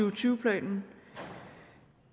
og tyve planen